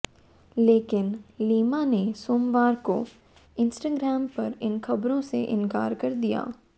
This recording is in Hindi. लेकिन लीमा ने सोमवार को इंस्टाग्राम पर इन खबरों से इनकार कर दिया